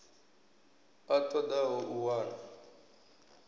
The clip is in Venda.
a ṱo ḓaho u wana